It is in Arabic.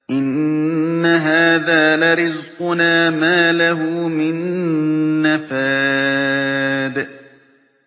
إِنَّ هَٰذَا لَرِزْقُنَا مَا لَهُ مِن نَّفَادٍ